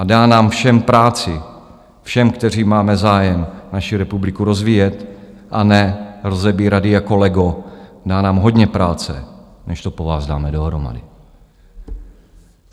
A dá nám všem práci, všem, kteří máme zájem naši republiku rozvíjet a ne rozebírat ji jako lego, dá nám hodně práce, než to po vás dáme dohromady.